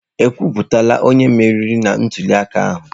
Ekwuputala onye meriri na ntuliaka ahụ?